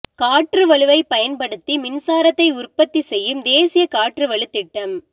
காற்று வலுவைப் பயன்படுத்தி மின்சாரத்தை உற்பத்தி செய்யும் தேசிய காற்று வலு திட்டம்